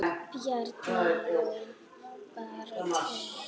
Bjarni Jó: Bara tveir?!